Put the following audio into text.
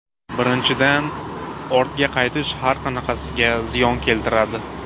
Birinchidan, ortga qaytish har qanaqasiga ziyon keltiradi.